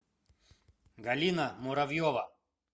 галина муравьева